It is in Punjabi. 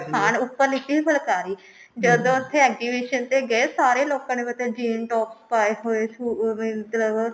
ਹਾਂ ਉੱਪਰ ਲੀਤੀ ਹੋਈ ਫੁਲਕਾਰੀ ਜਦੋਂ ਉੱਥੇ exhibition ਤੇ ਗਏ ਸਾਰੇ ਲੋਕਾ ਨੇ ਮਤਲਬ jean top ਪਾਏ ਹੋਏ